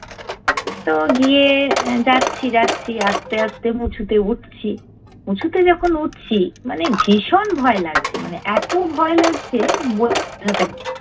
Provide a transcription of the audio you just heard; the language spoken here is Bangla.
তো গিয়ে যাচ্ছি যাচ্ছি আস্তে আস্তে উঁচুতে উঠছি, উঁচুতে যখন উঠছি মানে ভীষণ ভয় লাগছে মানে এতো ভয় লাগছে বোঝাতে পারবো না